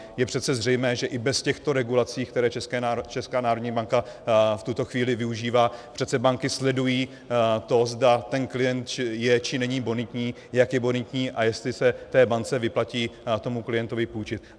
Je přece zřejmé, že i bez těchto regulací, které Česká národní banka v tuto chvíli využívá, přece banky sledují to, zda ten klient je či není bonitní, jak je bonitní a jestli se té bance vyplatí tomu klientovi půjčit.